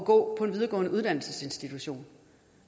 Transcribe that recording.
gå på en videregående uddannelsesinstitution